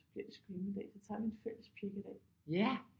Så bliver vi sgu hjemme i dag så tager vi en fælles pjækkedag